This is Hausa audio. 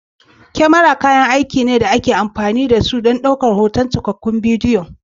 kamara kayan aiki ne da ake amfani da su don ɗaukar hotuna marasa ko yin rikodin cikakkun bidiyo